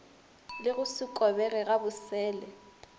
le go se kobege gabosele